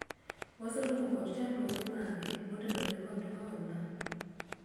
waseromo kod chandruoge mage motenore kod hola ?